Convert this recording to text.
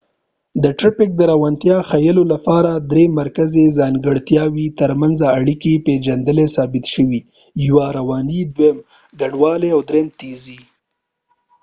د ټرېفک د روانتیا ښیلو لپاره درې مرکزي ځانګړتیاوو تر منځ اړیکي پېژندلي ثابت شوي دي: 1 رواني، 2 ګڼوالی، او 3 تېزي